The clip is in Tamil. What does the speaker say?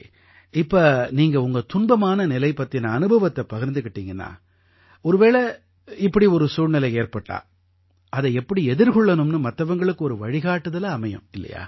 சரி இப்ப நீங்க உங்க துன்பமான நிலை பத்தின அனுபவத்தை பகிர்ந்துக்கிட்டீங்கன்னா ஒருவேளை இப்படி ஒரு சூழ்நிலை ஏற்பட்டா அதை எப்படி எதிர்கொள்ளணும்னு மத்தவங்களுக்கு ஒரு வழிகாட்டுதலா அமையும்